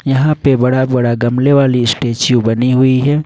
यहां पे बड़ा बड़ा गमले वाली स्टैचू बनी हुई है।